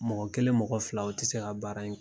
Mɔgɔ kelen mɔgɔ fila o ti se ka baara in kɛ.